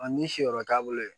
ni si yɔrɔ t'a bolo yen